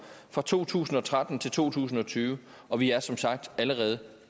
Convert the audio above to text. fra to tusind og tretten til to tusind og tyve og vi er som sagt allerede